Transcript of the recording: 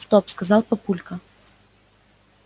стоп сказал папулька